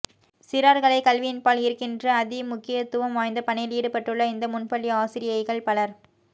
சிறார்களைக் கல்வியின்பால் ஈர்க்கின்ற அதிமுக்கியத்துவம்வாய்ந்த பணியில் ஈடுபட்டுள்ள இந்த முன்பள்ளி ஆசிரியைகள் பலர்